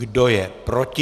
Kdo je proti?